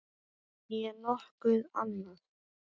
Né nokkuð annað.